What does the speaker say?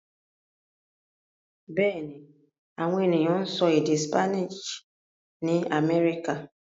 Bẹ́ẹ̀ ni, àwọn ènìyàn ń sọ èdè Spanish ní Amẹ́ríkà.